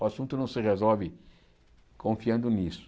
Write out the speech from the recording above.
O assunto não se resolve confiando nisso.